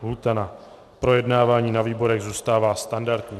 Lhůta na projednání ve výborech zůstává standardní.